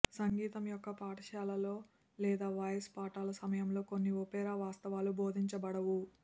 సంగీతం యొక్క పాఠశాలలో లేదా వాయిస్ పాఠాలు సమయంలో కొన్ని ఒపెరా వాస్తవాలు బోధించబడవు